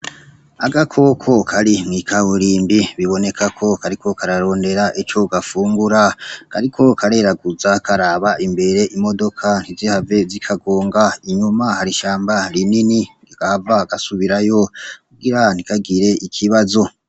Agakoko kari mw'ikaburimbi biboneka ko kariko kararondera ico gafungura, kariko kareraguza karaba imbere, imodoka ntizihave zikagonga, inyuma hari ishamba rinini, ntigahava gasubirayo kugira ntikagire ikibazo.